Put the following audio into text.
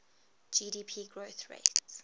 gdp growth rate